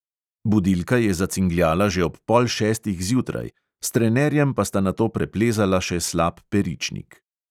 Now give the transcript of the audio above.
Budilka je zacingljala že ob pol šestih zjutraj, s trenerjem pa sta nato preplezala še slap peričnik.